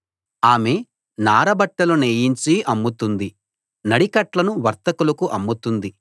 ఆమె నారబట్టలు నేయించి అమ్ముతుంది నడికట్లను వర్తకులకు అమ్ముతుంది